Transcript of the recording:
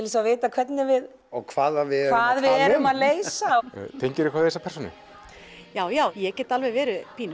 hvernig við og hvað við erum að leysa tengirðu eitthvað við þessa persónu já já ég get alveg verið pínu